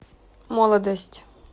молодость